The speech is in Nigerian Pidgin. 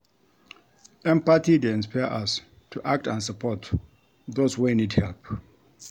Empathy dey inspire us to act and support those wey need help.